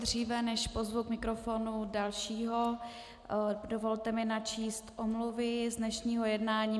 Dříve, než pozvu k mikrofonu dalšího, dovolte mi načíst omluvy z dnešního jednání.